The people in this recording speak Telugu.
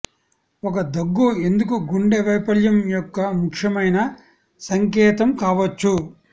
ఒక దగ్గు ఎందుకు గుండె వైఫల్యం యొక్క ముఖ్యమైన సంకేతం కావచ్చు